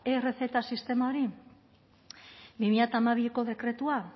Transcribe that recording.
errezeta sistema hori bi mila hamabiko dekretua